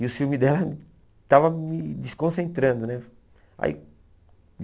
E o ciúme dela estava me desconcentrando né. Aí